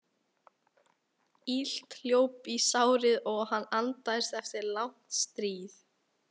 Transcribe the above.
Illt hljóp í sárið og hann andaðist eftir langt stríð.